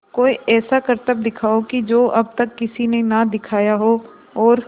कोई ऐसा करतब दिखाओ कि जो अब तक किसी ने ना दिखाया हो और